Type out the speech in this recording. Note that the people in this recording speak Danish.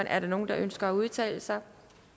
er der nogen der ønsker at udtale sig